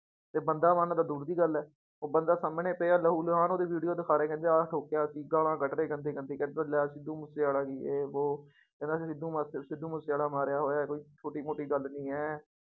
ਤੇ ਬੰਦਾ ਮਾਰਨਾ ਤਾਂ ਦੂਰ ਦੀ ਗੱਲ ਹੈ, ਉਹ ਬੰਦਾ ਸਾਹਮਣੇ ਪਿਆ ਲਹੂ ਲੁਹਾਨ ਉਹਦੀ video ਦਿਖਾ ਰਹੇ ਕਹਿੰਦੇ ਆਹ ਠੋਕਿਆ ਅਸੀਂ, ਗਾਲਾਂ ਕੱਢ ਰਹੇ ਗੰਦੀ ਗੰਦੀ ਕਹਿੰਦਾ ਲੈ ਸਿੱਧੂ ਮੂਸੇਵਾਲਾ ਜੇ ਵੋਹ ਕਹਿੰਦਾ ਸਿੱਧੂ ਮੂਸ ਸਿੱਧੂ ਮੂਸੇਵਾਲਾ ਮਾਰਿਆ ਹੋਇਆ ਕੋਈ ਛੋਟੀ ਮੋਟੀ ਗੱਲ ਨੀ ਹੈ